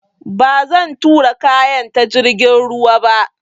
Ba zan tura kayan ta jirgin ruwa ba